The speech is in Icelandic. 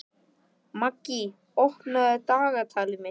Maggý, opnaðu dagatalið mitt.